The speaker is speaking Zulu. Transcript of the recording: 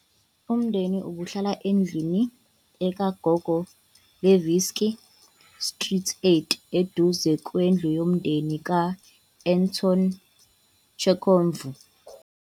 Umndeni ubuhlala endlini "ekuGogolevski Street 8", eduze kwendlu yomndeni ka- Anton Chekhov.